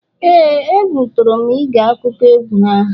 ee, egwu tụrụ m ige akụkọ egwu ahụ